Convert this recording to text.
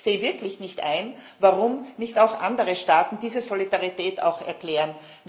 Und ich sehe wirklich nicht ein, warum nicht auch andere Staaten diese Solidarität erklären.